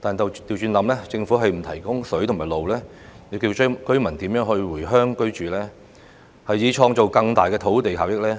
但倒過來想，如果政府不提供食水和道路，居民又何以回鄉居住，以創造更大的土地效益呢？